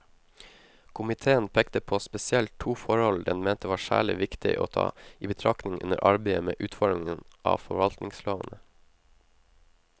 Komiteen pekte på spesielt to forhold den mente var særlig viktig å ta i betraktning under arbeidet med utformingen av forvaltningslovene.